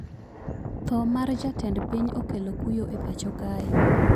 Tho mar jatend piny okelo kuyo e pacho kae